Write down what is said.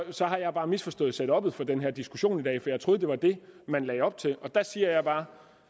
så har jeg bare misforstået setuppet for den her diskussion i dag for jeg troede det var det man lagde op til og der siger jeg bare